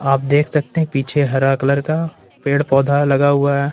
आप देख सकते हैं पीछे हरा कलर का पेड़ पौधा लगा हुआ है।